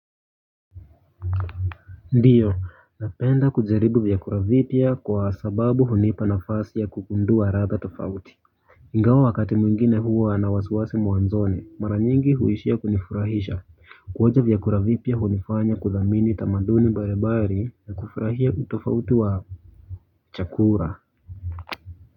Ndiyo, napenda kujaribu vyakula vipya kwa sababu hunipa nafasi ya kugundua ladha tofauti. Ingawa wakati mwingine huwa na wasiwasi mwanzoni, mara nyingi huishia kunifurahisha. Kuonja vyakula vipya hunifanya kuthamini tamaduni mbali mbali na kufurahia utofauti wa chakula.